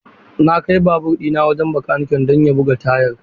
Na kai babur ɗina wajen bakanike don ya buga tayar.